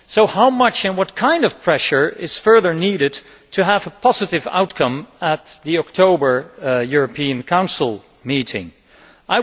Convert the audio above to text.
How much and what kind of pressure is further needed to have a positive outcome at the European Council meeting in October?